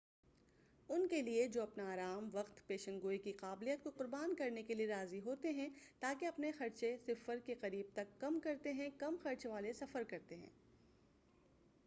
ان کے لیے جو اپنا آرام وقت پیشن گوئی کی قابلیت کو قربان کرنے کے لیے راضی ہوتے ہیں تا کہ اپنے خرچے صفر کے قریب تک کم کرتے ہیں کم خرچ والے سفر کرتے ہیں